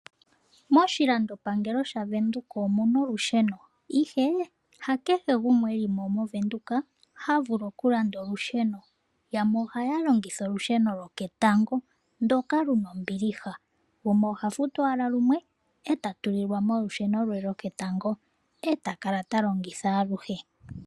Moshilandopangelo shaNamibia omuna olusheno, ihe hakehe gumwe elimo ta vulu okulanda olusheno. Aantu yamwe ohaya longitha olusheno lwoketango ndoka luna ombiliha, gumwe oha futu ashike lumwe eta tulilwamo olusheno lwe eta kala talongitha aluhe.